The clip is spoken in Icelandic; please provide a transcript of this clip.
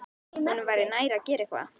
Honum væri nær að gera eitthvað.